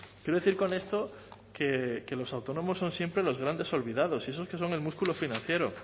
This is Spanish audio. quiero decir con esto que los autónomos son siempre los grandes olvidados y eso que son el músculo financiero